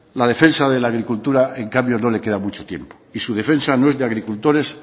la defensa de la agricultura en cambio no le queda mucho tiempo y su defensa no es de agricultores